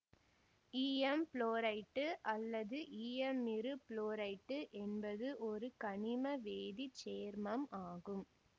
ஈயம் புளோரைட்டு அல்லது ஈயமிருபுளோரைட்டு என்பது ஒரு கனிம வேதி சேர்மம் ஆகும்